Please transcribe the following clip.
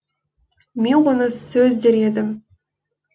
мен оны сөз дер едім